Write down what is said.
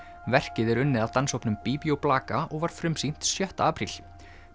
verkið er unnið af Bíbí og blaka og var frumsýnt sjötta apríl